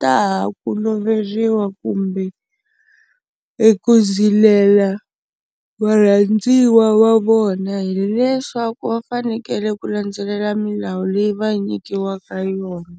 ta ha ku loveriwa kumbe eku zilela varhandziwa va vona hileswaku va fanekele ku landzelela milawu leyi va nyikiwaka yona.